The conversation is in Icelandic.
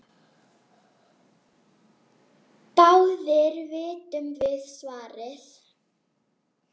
Báðir vitum við svarið